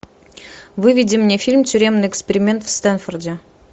выведи мне фильм тюремный эксперимент в стэнфорде